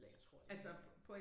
Eller jeg tror det var på på